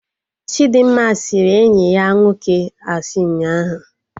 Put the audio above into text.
Chidimma sịrị enyi ya nwoke asị ụnyaahụ